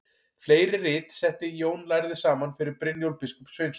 Fleiri rit setti Jón lærði saman fyrir Brynjólf biskup Sveinsson.